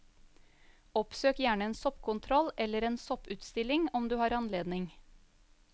Oppsøk gjerne en soppkontroll eller en sopputstilling om du har anledning.